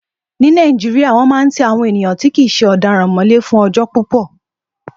Ní Nàìjíríyà, wọ́n máa n ti àwọn èèyàn tí kìí ṣe ọ̀daràn mọ́lé fún ọjọ́ púpọ̀